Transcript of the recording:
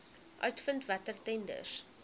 uitvind watter tenders